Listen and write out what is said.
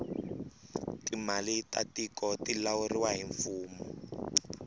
timali ta tiku ti lawuriwa hi mfumo